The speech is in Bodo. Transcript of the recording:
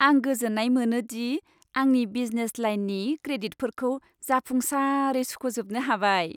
आं गोजोननाय मोनो दि आंनि बिजनेस लाइननि क्रेडिटफोरखौ जाफुंसारै सुख'जोबनो हाबाय।